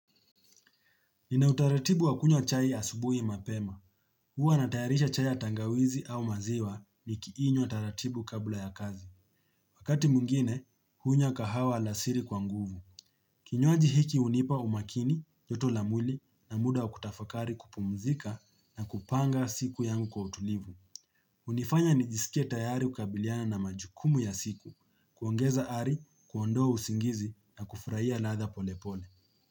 Nina utaratibu wa kunywa chai asubuhi mapema. Huwa natayarisha chai ya tangawizi au maziwa ni kiinywa taratibu kabla ya kazi. Wakati mwingine, hunywa kahawa alasiri kwa nguvu. Kinywaji hiki hunipa umakini, joto la mwili na muda wa kutafakari kupumzika na kupanga siku yangu kwa utulivu. Hunifanya nijisike tayari kukabiliana na majukumu ya siku, kuongeza hali, kuondoa usingizi na kufurahia ladha polepole.